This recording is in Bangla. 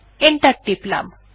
এন্টার টিপলাম